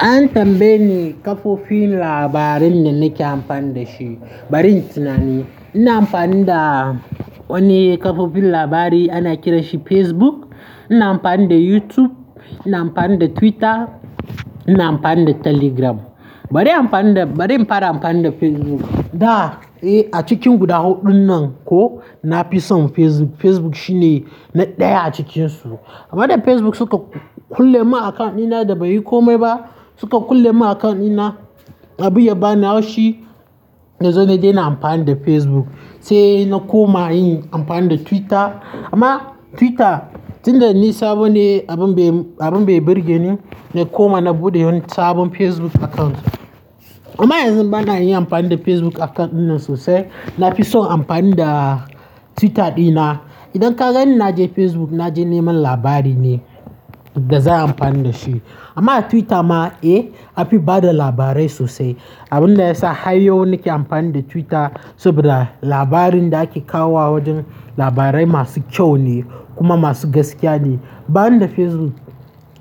An tambaye ni kafofin labari da nake amfani da shi. Bari in tinani, ina amfani da wani kafofin labari ana kira shi Facebook, ina amfani da YouTube, ina amfani da Twitter, ina amfani da Telegram. Bari bari in fara amfani da Facebook. A cikin guda huɗun nan ko nafi son Facebook. Facebook shine na ɗaya a cikinsu. Amma da Facebook suka kulle mun account ɗina da bai yi komai ba, suka kulle mun account ɗina na, abun ya bani haushi, na zo na daina amfani da Facebook. Sai na koma yin amfani da Twitter. Amma Twitter, tun da ni sabo ne abun bai abun bai burge ni, na koma na buɗe wani sabon Facebook account. Amma yanzu bana yin amfani da Facebook account ɗinnan sosai. Nafison amfani da Twitter ɗina. Idan ka gani na je Facebook, na je neman labari ne da zan amfani da shi. Amma a Twitter ma, eh anfi bada labarai sosai. Abun da yasa har yau nake amfani da Twitter saboda labarin da ake kawo wa wajen, labarai masu kyau ne kuma masu gaskiya ne. Ban da Facebook.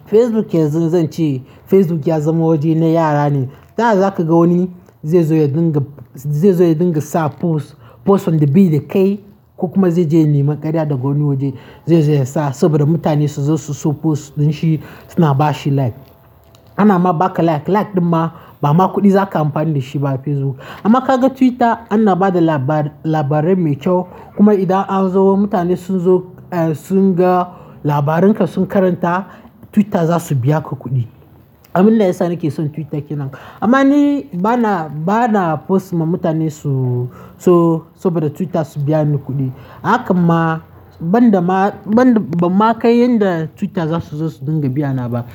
Facebook yanzu zan ce Facebook ya zama waje na yara ne. Ta yaya za ka ga wani zaizo ya ringa zai zo ya dinga sa post, post wanda bai da kai, ko kuma zai je ya nemi karya daga wani waje, zai zo ya sa saboda mutane su zo su so post din shi suna bashi like. Ana ma baka like, like ɗin ma ba ma kuɗi za ka amfani da shi ba a Facebook. Amma ka ga Twitter, ana bada labarai mai kyau kuma idan an zo mutane sun zo sun ga labarin ka sun karanta, Twitter za su biya ka kuɗi. Abun da yasa nake son Twitter kenan. Amma ni bana, bana post ma mutane su so saboda Twitter su biya ni kuɗi. Haka ma banda ma, ban ma kai yanda Twitter za su zo su dinga biyana ba.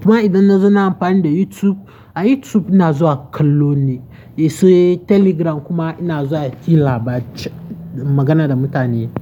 Kuma idan na zo na amfani da YouTube, a YouTube ina zuwa kallo ne. Sai Telegram kuma ina zuwa hira bace, magana da mutane.